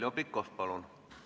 Heljo Pikhof, palun!